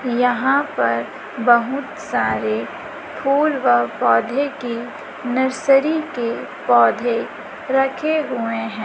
यहां पर बहुत सारे फूल व पौधे की नर्सरी के पौधे रखे हुए हैं।